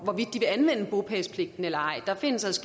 de eller ej der